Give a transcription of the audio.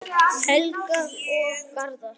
Helga og Garðar.